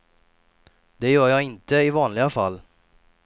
Det gör jag inte i vanliga fall.